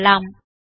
திரும்பலாம்